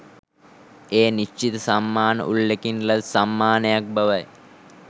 එය නිශ්චිත සම්මාන උළෙලකින් ලද සම්මානයක් බවයි